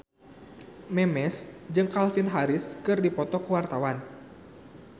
Memes jeung Calvin Harris keur dipoto ku wartawan